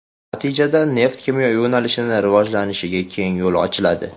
Natijada neft-kimyo yo‘nalishini rivojlantirishga keng yo‘l ochiladi.